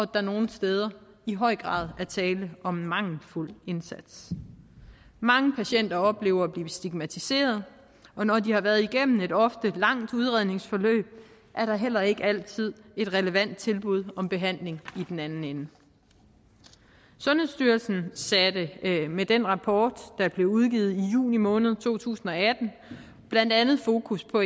der nogle steder i høj grad er tale om en mangelfuld indsats mange patienter oplever at blive stigmatiseret og når de har været igennem et ofte langt udredningsforløb er der heller ikke altid et relevant tilbud om behandling i den anden ende sundhedsstyrelsen satte med den rapport der blev udgivet i juni måned to tusind og atten blandt andet fokus på